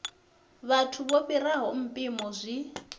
vhathu vho fhiraho mpimo zwi